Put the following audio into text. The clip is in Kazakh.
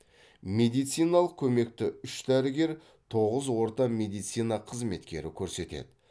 медициналық көмекті үш дәрігер тоғыз орта медицина қызметкері көрсетеді